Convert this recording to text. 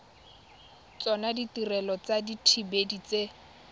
tsona ditirelo tsa dithibedi tse